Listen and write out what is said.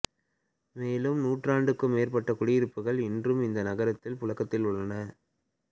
மேலும் நூற்றாண்டுக்கும் மேற்பட்ட குடியிருப்புகள் இன்றும் இந்த நகரத்தில் புழக்கத்தில் உள்ளன